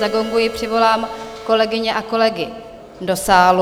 Zagonguji, přivolám kolegyně a kolegy do sálu.